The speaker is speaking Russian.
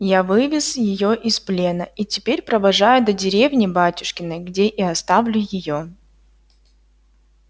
я вывез её из плена и теперь провожаю до деревни батюшкиной где и оставлю её